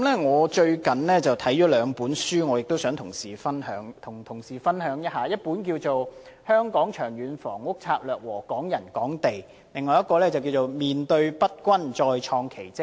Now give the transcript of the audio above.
我最近看了兩本書，也想跟同事分享一下，一本是《香港長遠房屋策略和港人港地》，另一本是《面對不均再創奇蹟》。